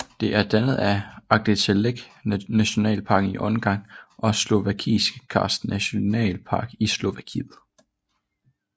Det er dannet af Aggtelek Nationalpark i Ungarn og Slovakiske Karst Nationalpark i Slovakiet